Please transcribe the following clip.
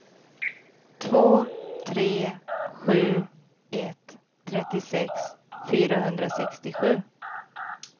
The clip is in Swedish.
två tre sju ett trettiosex fyrahundrasextiosju